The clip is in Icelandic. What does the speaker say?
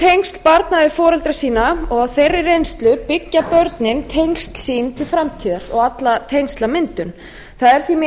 grunntengsl barna við foreldra sína og á þeirri reynslu byggja börnin tengsl sín til framtíðar og alla tengslamyndun það er mín